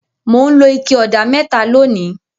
Mò ń lo ike ọ̀dà mẹ́ta lónìí.